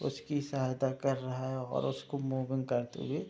उसकी सहायता कर रहा है और उसको मूविंग करते हुए --